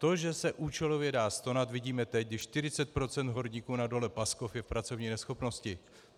To, že se účelově dá stonat, vidíme teď, kdy 40 % horníků na dole Paskov je v pracovní neschopnosti.